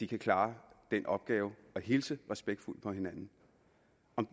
kan klare den opgave at hilse respektfuldt på hinanden